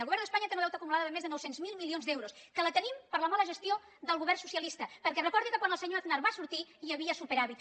el govern d’espanya té un deute acumulat de més de nou cents miler milions d’euros que el tenim per la mala gestió del govern socialista perquè recordi que quan el senyor aznar va sortir hi havia superàvit